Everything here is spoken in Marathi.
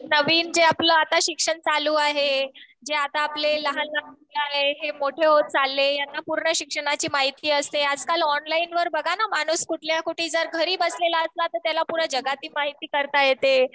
नवीन जे आपलं आता शिक्षण चालू आहे जे आता आपले लहाल लहान मुलं आहे हे आता मोठे होत चालले. ह्यांना पूर्ण शिक्षणाची माहिती असते. आजकाल ऑनलाईन वर बघा ना माणूस कुठल्या कुठे जर घरी बसलेला असला तर त्याला पूर्ण जगाची माहिती करता येते.